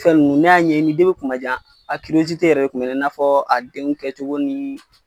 Fɛn nunnu ne y'a ɲɛɲini kumajan a yɛrɛ kun bɛ ne na, i n'a fɔ a denw kɛcogo ni